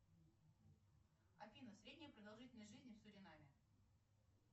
афина средняя продолжительность жизни в суринаме